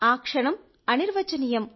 ఆ క్షణం చాలా బాగుంది